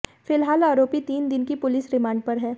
फिलहाल आरोपी तीन दिन की पुलिस रिमांड पर है